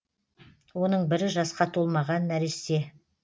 оның бірі жасқа толмаған нәресте